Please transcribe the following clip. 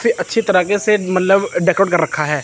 फिर अच्छी तरह के मतलब डेकोरट कर रखा है।